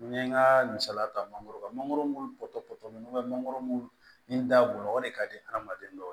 N ye n ka misaliya ta mangoro kan mangoro mun bɔtɔ mɛ n'o bɛ mangoro nkun na o de ka di adamaden dɔw